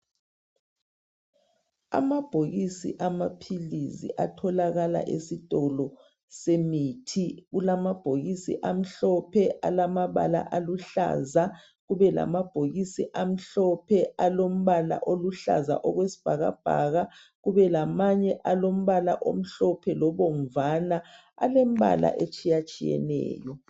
Amabhokisi amaphilisi atholakala esitolo semithi. Kulamabhokisi amhlophe, akamabala aluhlaza. Kubelamabhokisi amhlophe alombala . oluhlaza okwesibhakabhaka. Kubelamanye alombala omhlophe, lobomvana. Alembala etshiyatshiyeneyo.